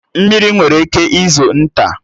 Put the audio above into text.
Mmiri nwere ike izo nta